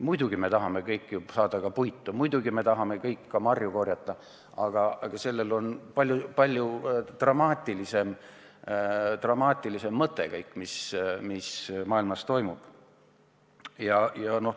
Muidugi me tahame kõik saada puitu, muidugi me tahame kõik marju korjata, aga tegelikult on kõigel, mis maailmas toimub, palju dramaatilisem tagapõhi.